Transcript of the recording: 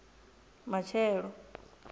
matshelo